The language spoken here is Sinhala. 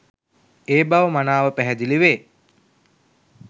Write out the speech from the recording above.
ඒ බව මනාව පැහැදිලි වේ.